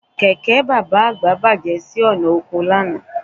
Kẹ̀kẹ́ bàbá àgbà bàjẹ́ sí ọ̀nà oko lánàá